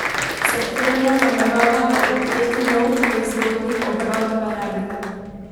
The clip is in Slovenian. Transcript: Septembra nameravajo odpreti nov proizvodni obrat v Velenju.